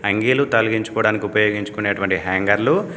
అంగీలు తలిగించుకోవడానికి ఉపయోగించుకునేటువంటి హ్యాంగర్లు--